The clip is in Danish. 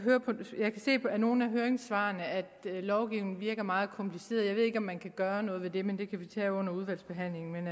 se af nogle af høringssvarene at lovgivningen virker meget kompliceret jeg ved ikke om man kan gøre noget ved det men det kan vi tage under udvalgsbehandlingen men